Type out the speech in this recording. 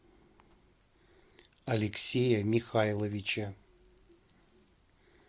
алексея михайловича